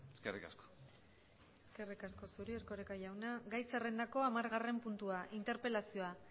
eskerrik asko eskerrik asko zuri erkoreka jauna gai zerrendako hamargarren puntua interpelazioa